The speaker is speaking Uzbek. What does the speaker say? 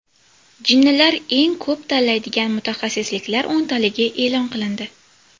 Jinnilar eng ko‘p tanlaydigan mutaxassisliklar o‘ntaligi e’lon qilindi.